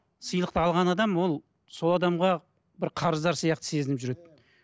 сыйлықты алған адам ол сол адамға бір қарыздар сияқты сезініп жүреді